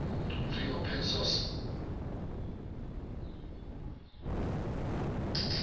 free open source